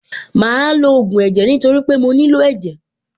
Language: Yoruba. Màá lo ògùn ẹ̀jẹ̀ nítorí pé mo nílò ẹ̀jẹ̀.